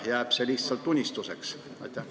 Jääb see lihtsalt unistuseks?